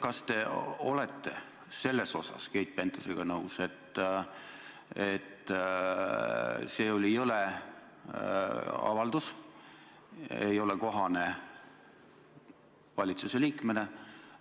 Kas te olete Keit Pentusega nõus, et see oli jõle avaldus, mis ei ole kohane valitsuse liikmele,